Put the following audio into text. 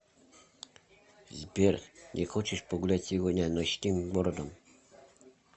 сбер не хочешь погулять сегодня ночным городом